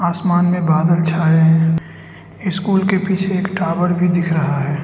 आसमान में बादल छाए है स्कूल के पीछे एक टॉवर भी दिख रहा है।